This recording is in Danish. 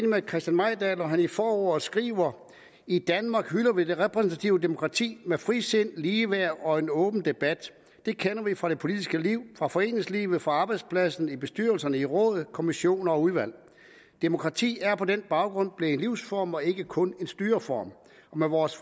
med christian mejdahl når han i forordet skriver i danmark hylder vi det repræsentative demokrati med frisind ligeværd og en åben debat det kender vi fra det politiske liv fra foreningslivet fra arbejdspladsen i bestyrelser og i råd kommissioner og udvalg demokrati er på den baggrund blevet en livsform og ikke kun en styreform og med vores